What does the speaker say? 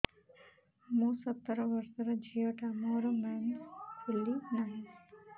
ମୁ ସତର ବର୍ଷର ଝିଅ ଟା ମୋର ମେନ୍ସେସ ଖୁଲି ନାହିଁ